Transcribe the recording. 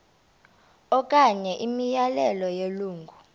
okanye imiyalelo yelungu